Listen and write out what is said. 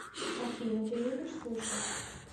афина ты любишь суши